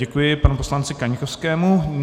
Děkuji panu poslanci Kaňkovskému.